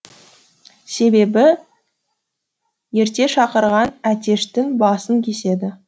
себебі ерте шақырған әтештің басын кеседі